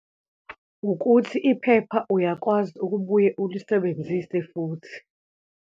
Ukuthi iphepha uyakwazi ukubuye ulisebenzise futhi.